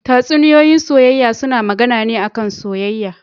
Tatsuniyoyin soyayya suna magAna ne a kan soyayya